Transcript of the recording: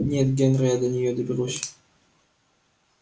нет генри я до неё доберусь